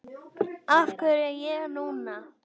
Af hverju ég núna?